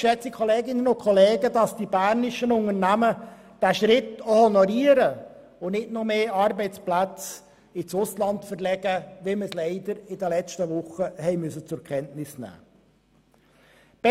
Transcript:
Es ist nur zu hoffen, dass die bernischen Unternehmen diesen Schritt auch honorieren und nicht noch mehr Arbeitsplätze ins Ausland verlegen, wie wir dies leider in den letzten Wochen haben zur Kenntnis nehmen müssen.